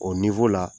O la